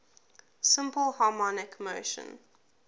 simple harmonic motion